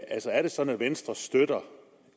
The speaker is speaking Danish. er det sådan at venstre støtter